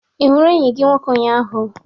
Ị hụrụ enyi gị nwoke ụnyahụ?